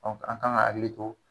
an kan ka hakili to